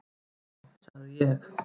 """Já, sagði ég."""